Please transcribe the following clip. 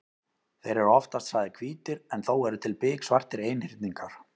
Þeir eru oftast sagðir hvítir en þó eru til biksvartir einhyrningar.